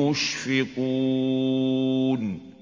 مُّشْفِقُونَ